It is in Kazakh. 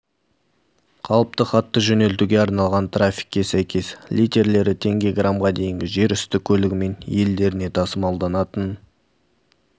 қалыпты хатты жөнелтуге арналған тарифке сәйкес литерлері теңге грамға дейінгі жер үсті көлігімен елдеріне тасымалданатын